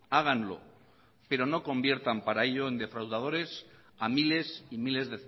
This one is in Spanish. háganlo pero no conviertan para ello en defraudadores a miles y miles